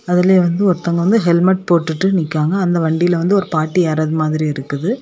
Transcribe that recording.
அதில வந்து ஒருத்தவங்க வந்து ஹெல்மெட் போட்டுட்டு நிக்காங்க. அந்த வண்டியில வந்து ஒரு பாட்டு ஏறாத மாதிரி இருக்குது.